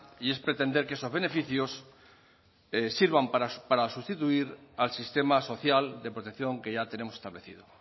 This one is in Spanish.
y es pretender que esos beneficios sirvan para sustituir al sistema social de protección que ya tenemos establecido